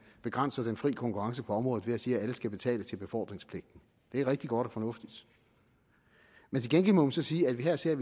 begrænse den fri konkurrence på området ved at sige at alle skal betale til befordringspligten det er rigtig godt og fornuftigt men til gengæld må man så sige at vi her ser